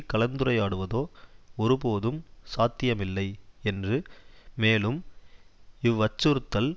கலந்துரையாடுவதோ ஒரு போதும் சாத்தியமில்லை என்று மேலும் இவ் அச்சுறுத்தல்